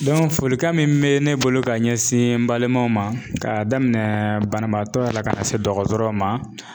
folikan min bɛ ne bolo ka ɲɛsin n balimaw ma k'a daminɛ banabaatɔ yɛrɛ la ka na se dɔgɔtɔrɔ ma.